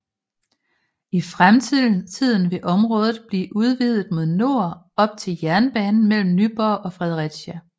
I fremtiden vil området blive udvidet mod nord op til jernbanen mellem Nyborg og Fredericia